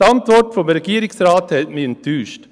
Die Antwort des Regierungsrates hat mich enttäuscht.